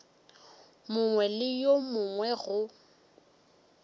mongwe le wo mongwe go